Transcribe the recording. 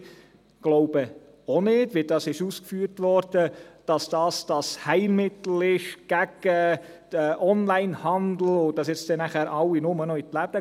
Wir glauben auch nicht, wie es ausgeführt wurde, dass dies das Heilmittel gegen den Onlinehandel ist und danach alle nur noch in die Läden gehen.